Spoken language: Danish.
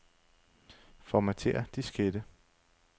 Formatér diskette.